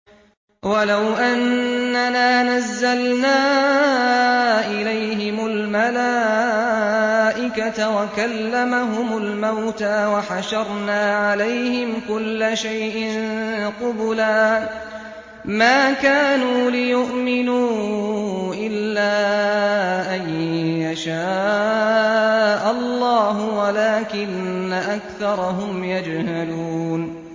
۞ وَلَوْ أَنَّنَا نَزَّلْنَا إِلَيْهِمُ الْمَلَائِكَةَ وَكَلَّمَهُمُ الْمَوْتَىٰ وَحَشَرْنَا عَلَيْهِمْ كُلَّ شَيْءٍ قُبُلًا مَّا كَانُوا لِيُؤْمِنُوا إِلَّا أَن يَشَاءَ اللَّهُ وَلَٰكِنَّ أَكْثَرَهُمْ يَجْهَلُونَ